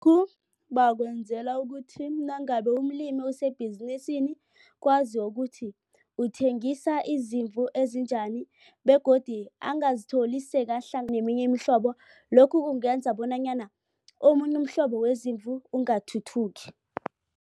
bakwenzela ukuthi nangabe umlimi usebhizinisini kwaziwe ukuthi uthengisa izimvu ezinjani begodu angazitholi neminye imihlobo lokhu kungenza bonanyana omunye umhlobo wezimvu ungathuthuki.